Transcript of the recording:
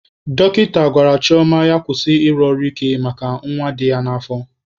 Dọkịta gwara Chioma na ya kwụsị ịrụ ọrụ ike maka nwa dị ya n'afọ.